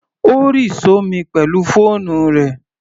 Ó rì sí omi pẹ̀lú fóònù rẹ̀.